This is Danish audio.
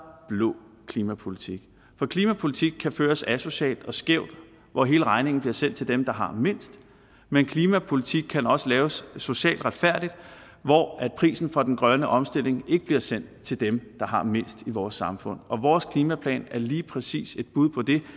blå klimapolitik for klimapolitik kan føres asocialt og skævt hvor hele regningen bliver sendt til dem der har mindst men klimapolitik kan også laves socialt retfærdigt hvor prisen for den grønne omstilling ikke bliver sendt til dem der har mindst i vores samfund og vores klimaplan er lige præcis et bud på det